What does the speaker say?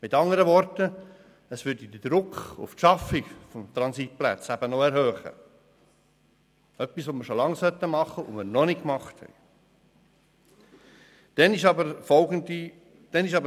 Mit anderen Worten: Es würde den Druck auf die Schaffung von Transitplätzen erhöhen – etwas, was wir schon lange hätten machen sollen und noch nicht gemacht haben.